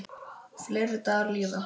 Fleiri dagar líða.